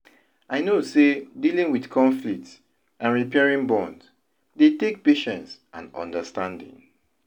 I know say dealing with conflicts and repairing bonds dey take patience and understanding.